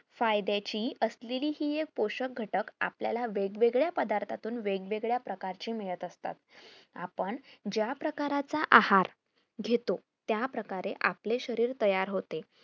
फायद्याची असलेली हि एक पोषक घटक आपल्याला वेगवेगळ्या पदार्थातून वेगवेळ्या प्रकारची मिळत असता आपण ज्या प्रकारचा आहार घेतो त्या प्रकारे आपले शरीर तयार होते